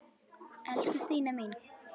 Elsku Stína mín.